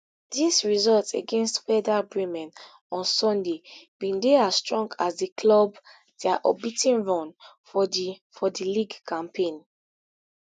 di result against werder bremen on sunday bin dey as strong as di club dia unbea ten run for di for di league campaign